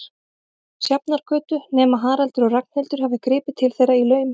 Sjafnargötu, nema Haraldur og Ragnhildur hafi gripið til þeirra í laumi.